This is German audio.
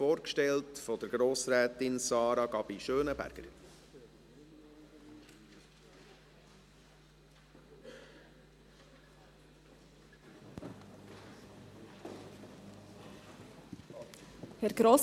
Erhöhung des Produktegruppensaldos um 70 000 Franken, damit der Förderungskredit KKJ gesprochen werden kann und die Kommission zum Schutz und zur Förderung von Kinder und Jugendlichen (KKJ) wieder arbeiten kann.